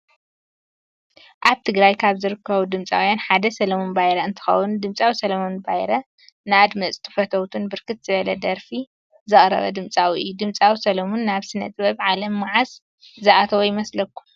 አብ ትግራይ ካበ ዝርከቡ ድምፃውያነ ሓደ ስለሙን ባይረ እንትከውን ድምፂዊ ስለሙን ንአድምፅቱን ፈተውቱን ብርክት ዝብለ ደረፊ ዘቅረበ ድምፃዊ እዩ። ድምፃዊ ስለሙን ናብ ስነ ጥበበ ዓለም መዓዝ ዝአተዎ ይመስለኩም?